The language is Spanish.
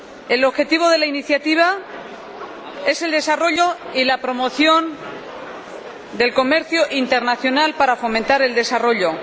El objetivo de la iniciativa es el desarrollo y la promoción del comercio internacional para fomentar el desarrollo.